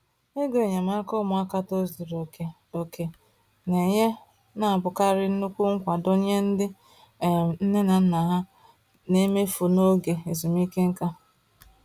Ego enyemaka ụmụaka tozuru oke oke na-enye na-abụkarị nnukwu nkwado nye ndị um nne na nna ha na-emefu n’oge ezumike nka.